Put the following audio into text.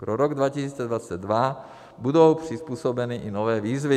Pro rok 2022 budou přizpůsobeny i nový výzvy.